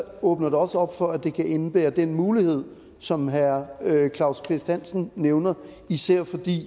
åbner det også op for at det kan indebære den mulighed som herre claus kvist hansen nævner især fordi